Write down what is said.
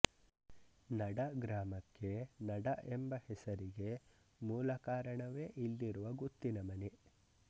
ನಡಗ್ರಾಮಕ್ಕೆ ನಡ ಎಂಬ ಹೆಸರಿಗೆ ಮೂಲ ಕಾರಣವೇ ಇಲ್ಲಿರುವ ಗುತ್ತಿನ ಮನೆ